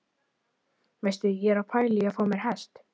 Veistu, ég er að pæla í að fá mér hest!